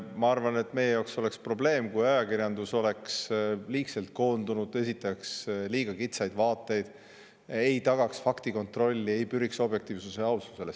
Ma arvan, et meie jaoks oleks probleem, kui ajakirjandus oleks liigselt koondanud liiga kitsaid vaateid, ei tagaks faktikontrolli, ei püriks objektiivsusele ja aususele.